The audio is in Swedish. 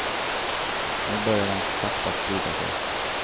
Nu börjar den så sakta sprida sig.